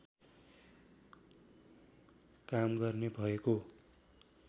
काम गर्ने भएको